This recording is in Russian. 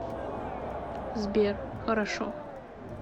сбер хорошо